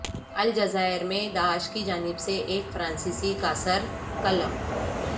الجزائرمیں داعش کی جانب سے ایک فرانسیسی کا سر قلم